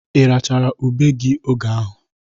Irachara ube gi oge ahụ?